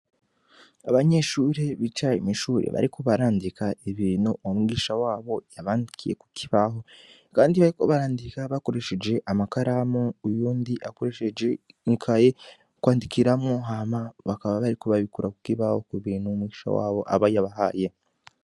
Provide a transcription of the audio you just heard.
Abanyeshuri bicaye imishuri bariko barandika ibintu umumwigisha wabo yabandikiye ku kibaho, kandi bariko barandika bakoresheje amakaramu uyundi akoresheje inkaye kwandikiramwo hama bakaba bariku babikura kukoibaho ku bintu mumwigisha wabo aba yabahaye.